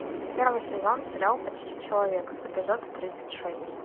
первый сезон сериал почти человек эпизод тридцать шесть